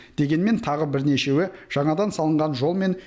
дегенмен тағы бірнешеуі жаңадан салынған жол мен